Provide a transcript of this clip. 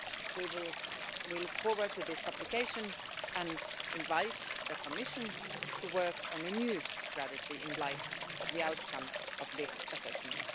We look forward to this publication and invite the Commission to work on a new strategy in light of the outcome of this assessment.